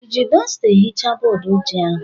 I ji dọsta ehichaa bọọdụ ojii ahụ?